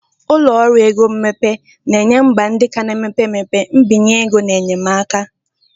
Ụlọ ọrụ ego mmepe na-enye mba ndị ka na-emepe emepe mbinye ego na enyemaka.